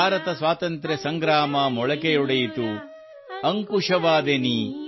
ಭಾರತ ಸ್ವಾತಂತ್ರ್ಯ ಸಂಗ್ರಾಮ ಮೊಳಕೆಯೊಡೆಯಿತು ಅಂಕುಶವಾದೆ ನೀ